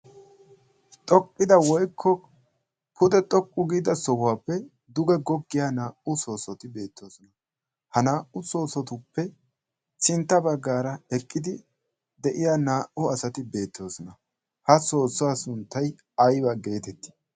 xoqqida woikko pude xoqqu giida sohuwaappe duge goggiya naa77u soosoti beettoosona. ha naa77u soosotuppe sintta baggaara eqqidi de7iya naa77u asati beettoosona. ha soossuwa sunttai aiba geetettii?